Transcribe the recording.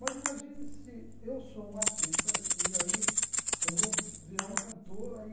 Mas imagine se eu sou um artista e aí eu vou virar um cantor aí...